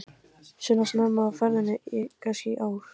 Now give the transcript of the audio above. Sunna: Snemma á ferðinni í ár kannski?